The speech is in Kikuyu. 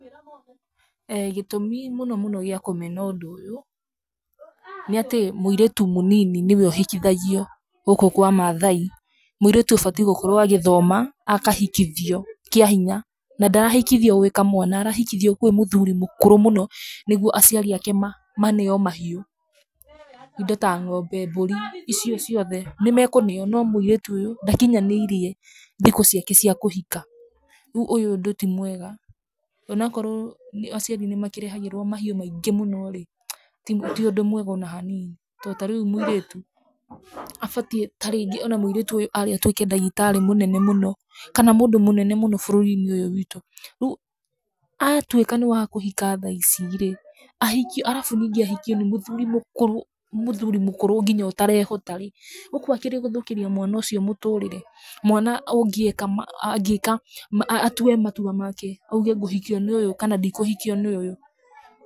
Gĩtũmi mũno mũno gĩa kũmena ũndũ ũyũ nĩ atĩ mũirĩtu mũnini nĩwe ũhikithagio gũkũ kwa maathai, mũirĩtu ũbatiĩ gũkorwo agĩthoma akahikithio kĩa hinya. Na ndarahikoithio gwĩ kamwana, arahikithio kwĩ mũthuri mũkũrũ mũno nĩguo aciari ake maneo mahiũ, indo ta ng'ombe, mburi, icio ciothe nĩ mekũheo, no mũirĩtu ũyũ ndakinyanĩirie thikũ ciake cia kũhika. Rĩu ũndũ ũyũ ti mwega, o na korwo aciari nĩ makĩrehagĩrwo mahiũ maingĩ mũno rĩ, ti ũndũ mwega o na hanini to ta rĩu mũirĩtu, abatiĩ, ta rĩngĩ o na mũirĩtu ũyũ aarĩ atũĩke ndagĩtarĩ mũnene mũno kana mũndũ mũnene mũno bũrũri-inĩ ũyũ witũ. Rĩu atuĩka nĩ wa kũhika tha ici rĩ, ahikio arabu ningĩ ahikio nĩ mũthuri mũkũrũ, mũthuri mũkũrũ nginya ũtereehota rĩ, gũkũ akĩrĩ gũthũkĩria mwana ũcio mũtũrĩre. Mwana ũngĩeka angĩĩka atue matua make, auge ngũhikio nĩ ũyũ kana ndikũhikio nĩ ũyũ.